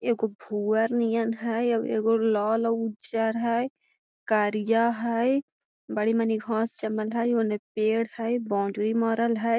एगो भुअर नियन है एगो लाल उजर है करिया है बड़ी मनी घास जमल है ओने पेड़ है बाउंड्री मारल है।